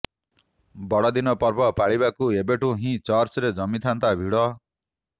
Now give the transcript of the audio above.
ବଡ଼ଦିନ ପର୍ବ ପାଳିବାକୁ ଏବେଠୁ ହିଁ ଚର୍ଚ୍ଚରେ ଜମିଥାନ୍ତା ଭିଡ଼